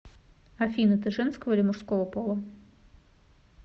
афина ты женского или мужского пола